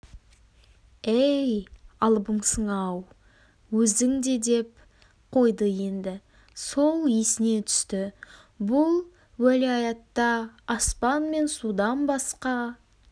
әй алыбымсың-ау өзің де деп қойды енді сол есіне түсті бұл уәлаятта аспан мен судан басқа